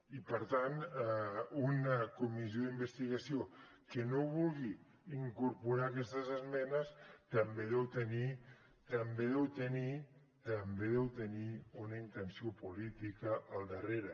i per tant una comissió d’investigació que no vulgui incorporar aquestes esmenes també deu tenir també deu tenir també deu tenir una intenció política al darrere